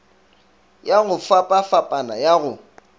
ya go fapafapana ya go